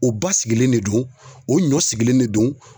U basigilen de don o ɲɔsigilen de don